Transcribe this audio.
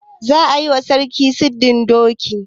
Za a yi wa sarki sirdin doki.